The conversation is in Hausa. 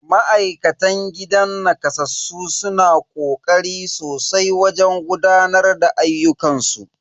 Ma'aikatan gidan nakasassu suna kokari sosai wajen gudanar da ayyukan su.